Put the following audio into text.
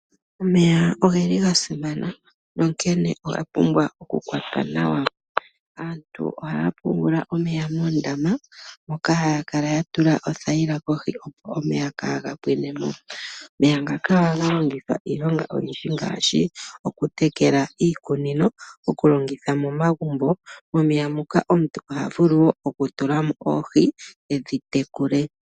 Omeya oga simana, onkene oga pumbwa okukwatwa nawa. Aantu ohaya pungula omeya moondama moka haya kala ya tula othayila kohi, opo omeya kaaga pwine mo. Omeya ngaka ohaga longithwa iilonga oyindji ngaashi okutekela iikunino nokulongitha momagumbo. Momeya muka omuntu oha vulu wo okutula mo oohi, e dhi tekule.